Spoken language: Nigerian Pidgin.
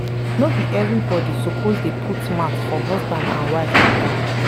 no be everybodi suppose dey put mouth for husband and wife mata.